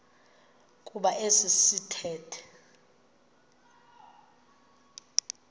kuba esi sithethe